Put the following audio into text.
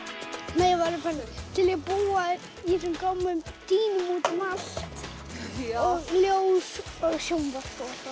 ég væri til í að búa í þessum gömlu dýnum út um allt og ljós og sjónvarp